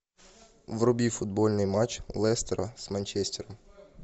вруби футбольный матч лестера с манчестером